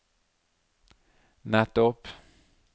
nettopp